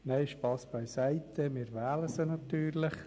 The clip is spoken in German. Nein, Spass beiseite, wir wählen sie natürlich!